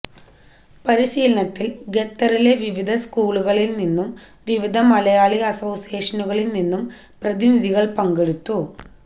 പരിശീലനത്തിൽ ഖത്തറിലെ വിവിധ സ്കൂളുകളിൽ നിന്നും വിവിധ മലയാളി അസോസിയേഷനുകളിൽ നിന്നും പ്രതിനിധികൾ പങ്കെടുത്തു